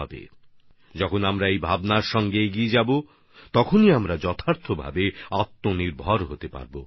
আমরা যখন এই চিন্তা নিয়ে এগিয়ে যাবো তখনই সত্যিকার অর্থে আত্মনির্ভর হতে পারবো